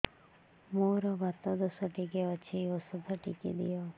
ମୋର୍ ବାତ ଦୋଷ ଟିକେ ଅଛି ଔଷଧ ଟିକେ ଦିଅ